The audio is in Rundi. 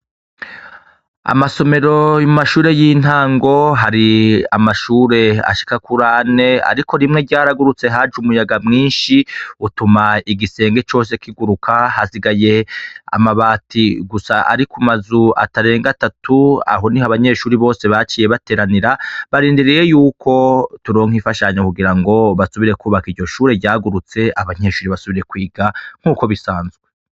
Amasomero mu mashure y'intango hari amashure ashika kurane, ariko rimwe ryaragurutse haje umuyaga mwinshi utuma igisenge cose kiguruka hasigaye amabati gusa ari ku mazu atarenga atatu aho ni ho abanyeshuri bose baciye bateranira barindiriyeyu yuko turonka ifashanyo kugira ngo basubire kwubaka iryo shure ryagurutse abankyeshuri basubire kwiga nk'uko bisanzwe.